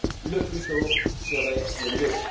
le plus tôt serait le mieux.